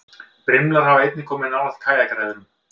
Brimlar hafa einnig komið nálægt kajakræðurum.